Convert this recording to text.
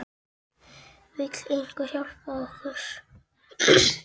Vill einhver hjálpa okkur?